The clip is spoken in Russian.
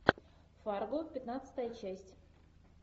фарго пятнадцатая часть